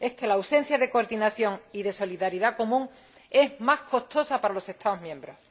Es que la ausencia de coordinación y de solidaridad común es más costosa para los Estados miembros.